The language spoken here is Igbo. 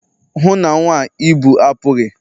hụ na nwa a ị bu apughị!